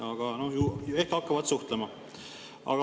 Aga no ehk hakkavad suhtlema.